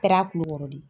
Kɛra kulukɔrɔ de ye